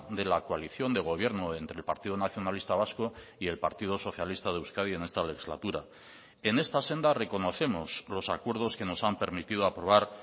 de la coalición de gobierno entre el partido nacionalista vasco y el partido socialista de euskadi en esta legislatura en esta senda reconocemos los acuerdos que nos han permitido aprobar